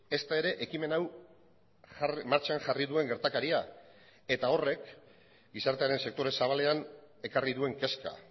ezta ere ekimen hau martxan jarri duen gertakaria eta horrek gizartearen sektore zabalean ekarri duen kezka